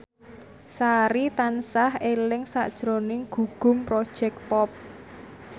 Sari tansah eling sakjroning Gugum Project Pop